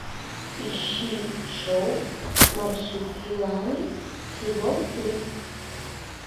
ищи шоу марсупилами сезон три